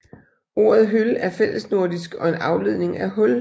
Ordet høl er fællesnordisk og en afledning af hul